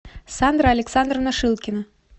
сандра александровна шилкина